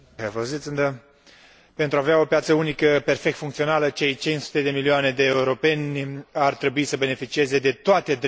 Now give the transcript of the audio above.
Pentru a avea o piață unică perfect funcțională, cei 500 de milioane de europeni ar trebui să beneficieze de toate drepturile care li se cuvin.